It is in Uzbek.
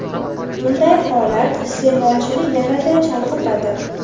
Bunday holat iste’molchini yanada chalg‘itadi.